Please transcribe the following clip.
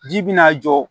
Ji bina a jɔ